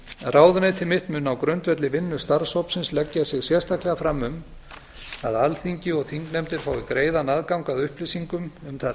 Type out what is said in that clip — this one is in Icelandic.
ráðuneyti mitt mun á grundvelli vinnu starfshópsins leggja sig sérstaklega fram um að alþingi og þingnefndir fái greiðan aðgang að upplýsingum um þær